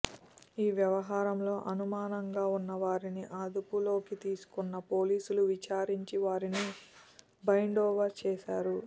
ఈ వ్యవహారంలో అనుమానంగా ఉన్న వారిని అదుపులోకి తీసుకున్న పోలీసులు విచారించి వారిని బైండోవర్ చేశారు